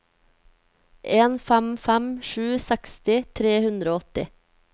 en fem fem sju seksti tre hundre og åtti